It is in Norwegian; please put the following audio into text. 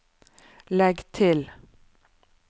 legg til